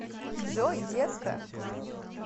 джой детка